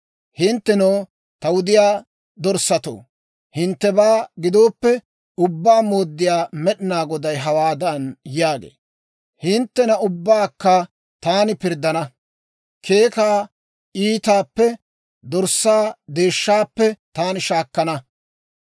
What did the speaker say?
« ‹Hinttenoo, ta wudiyaa dorssatoo, hinttebaa gidooppe, Ubbaa Mooddiyaa Med'inaa Goday hawaadan yaagee; «Hinttena ubbaakka taani pirddana; keekaa iitaappe, dorssaa deeshshaappe taani shaakkana.